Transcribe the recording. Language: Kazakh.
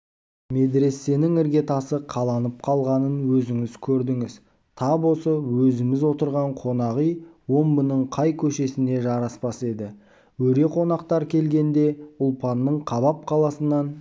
медресенің ірге тасы қаланып қалғанын өзіңіз көрдіңіз тап осы өзіміз отырған қонақ үй омбының қай көшесіне жараспас еді өре қонақтар келгенде ұлпанның қабап қаласынан